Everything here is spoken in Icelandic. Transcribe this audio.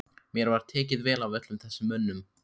Mér var tekið vel af öllum þessum mönnum.